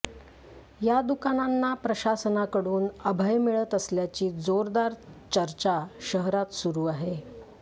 या दुकानांना प्रशासनाकडून अभय मिळत असल्याची जोरदार चर्चा शहरात सुरू आहे